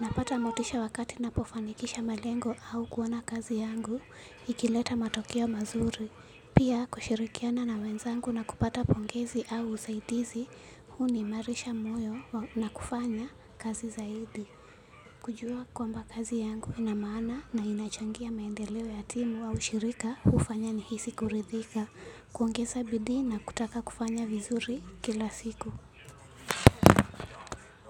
Napata motisha wakati napofanikisha malengo au kuona kazi yangu, ikileta matokeo mazuri. Pia kushirikiana na wenzangu na kupata pongezi au usaidizi, huni malisha moyo na kufanya kazi zaidi. Kujua kwamba kazi yangu ina maana na inachangia maendeleo ya timu au ushirika, hufanya nihisi kuridhika. Kuongeza bidii na kutaka kufanya vizuri kila siku.